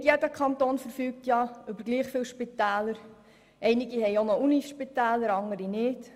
Nicht jeder Kanton verfügt über gleich viele Spitäler, einige haben Universitätsspitäler, andere nicht.